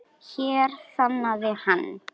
Hér þagnaði hann.